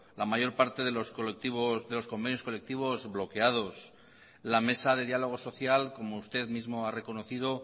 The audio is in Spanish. la mayor parte de los convenios colectivos bloqueados la mesa de diálogo social como usted mismo ha reconocido